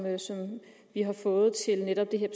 vi har fået til netop det her